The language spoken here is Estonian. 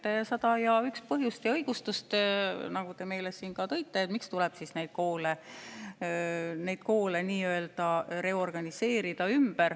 Te leiate sada ja üks põhjust ja õigustust, nagu te siin ka tõite, miks tuleb neid koole reorganiseerida.